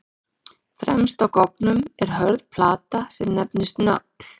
Fremst á goggnum er hörð plata sem nefnist nögl.